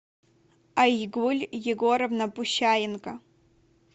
айгуль егоровна пущаенко